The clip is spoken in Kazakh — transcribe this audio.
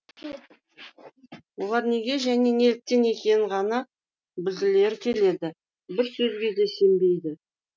олар неге және неліктен екенін ғана білгілері келеді бір сөзге де сенбейді